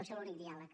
deu ser l’únic diàleg